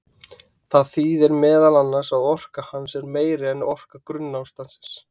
Það þýðir meðal annars að orka hans er meiri en orka grunnástands.